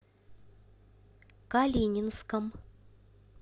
калининском